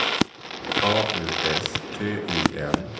A U S T I N